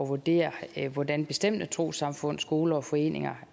vurdere hvordan bestemte trossamfund skoler og foreninger